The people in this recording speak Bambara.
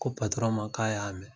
Ko ma k'a y'a mɛn